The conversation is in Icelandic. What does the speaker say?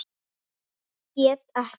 Get ekkert.